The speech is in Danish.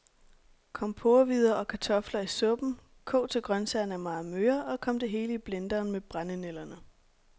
Kom porrehvider og kartofler i suppen, kog til grøntsagerne er meget møre, og kom det hele i blenderen med brændenælderne.